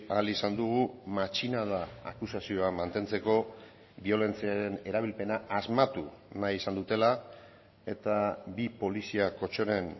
ahal izan dugu matxinada akusazioa mantentzeko biolentziaren erabilpena asmatu nahi izan dutela eta bi polizia kotxeren